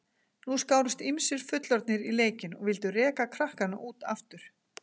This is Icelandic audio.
Nú skárust ýmsir fullorðnir í leikinn og vildu reka krakkana út aftur.